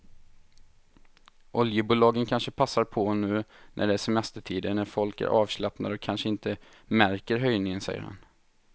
Oljebolagen kanske passar på nu när det är semestertider när folk är avslappnade och kanske inte märker höjningen, säger han.